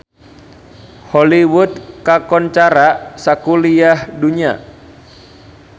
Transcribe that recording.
Hollywood kakoncara sakuliah dunya